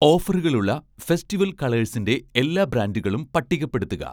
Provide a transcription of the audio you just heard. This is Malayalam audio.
ഓഫറുകളുള്ള ഫെസ്റ്റിവൽ കളേഴ്സിൻ്റെ എല്ലാ ബ്രാൻഡുകളും പട്ടികപ്പെടുത്തുക